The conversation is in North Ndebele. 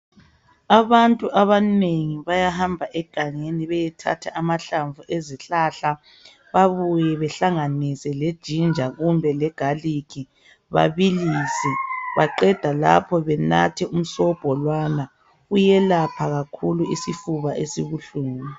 Abantu abanengi bayahamba egangeni beyethatha amahlamvu ezihlahla babuye bahlanganise le"ginger" kumbe le"garlic" babillise beqeda lapho benathe umsobho lowana, uyelapha kakhulu isifuba esibuhlungu.